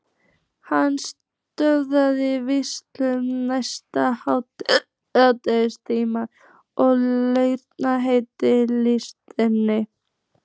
Hann sötraði viskíið næsta hálftímann og hugleiddi listann.